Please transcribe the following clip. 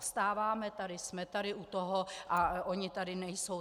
Vstáváme tady, jsme tady u toho, a oni tady nejsou.